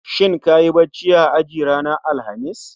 Shin kayi bacci a aji ranar Alhamis?